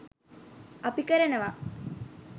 අපි කරනවා.